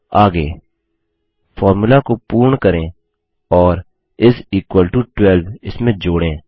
आगे फॉर्मूला को पूर्ण करें और इस इक्वल टो12 इसमें जोड़ें